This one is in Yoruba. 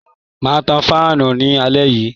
Ma tan fáànù ní alé yìí.